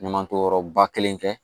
Ɲuman to yɔrɔba kelen kɛ